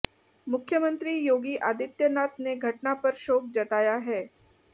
मुख्यमंत्री योगी आदित्यनाथ ने घटना पर शोक जताया है